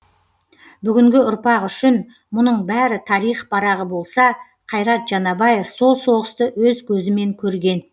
бүгінгі ұрпақ үшін мұның бәрі тарих парағы болса қайрат жанабаев сол соғысты өз көзімен көрген